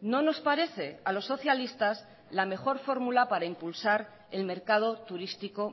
no nos parece a los socialistas la mejor fórmula para impulsar el mercado turístico